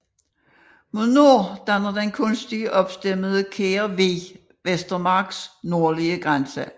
Mod nord danner den kunstig opstemmede Kær Vig Vestermarks nordlige grænse